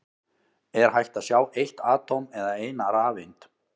Er hægt að sjá eitt atóm eða eina rafeind?